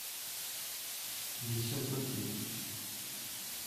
ессентуки